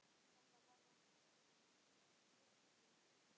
Þetta varð okkar síðasti fundur.